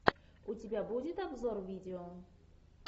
у тебя будет обзор видео